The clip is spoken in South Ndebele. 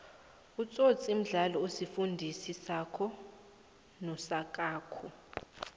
itsotsi mdlalo osifundi sako nosakhako